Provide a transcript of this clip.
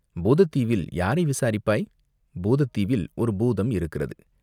பூதத் தீவில் யாரை விசாரிப்பாய், பூதத் தீவில் ஒரு பூதம் இருக்கிறது.